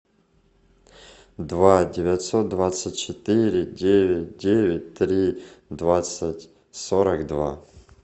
два девятьсот двадцать четыре девять девять три двадцать сорок два